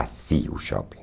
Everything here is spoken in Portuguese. Assim o shopping.